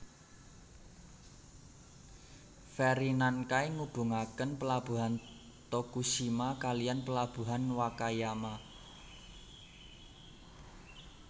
Feri Nankai ngubungaken Pelabuhan Tokushima kalihan Pelabuhan Wakayama